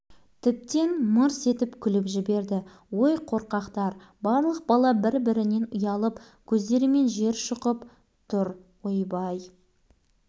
енді бәрі дауыс шыққан жаққа жалт-жалт қараған міне қызық каток от алып кетіпті бері жылжып келеді